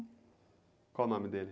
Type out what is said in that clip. Qual o nome dele?